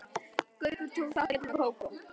Gaukur tók þátt í öllu með Kókó.